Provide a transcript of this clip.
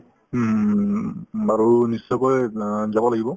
উম উম উম উম উম বাৰু নিশ্চয়কৈ অ যাব লাগিব